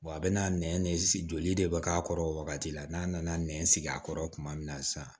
a bɛna nɛn joli de bɛ k'a kɔrɔ o wagati la n'a nana nɛn sigi a kɔrɔ tuma min na sisan